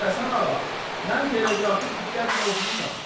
Hacı Həsən ağa, mən teleqrafı diqqətlə oxumuşam.